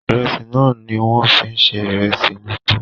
Ìrẹsì náà ni wọ́n fi ń se ìrẹsì elépo